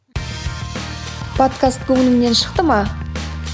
подкаст көңіліңнен шықты ма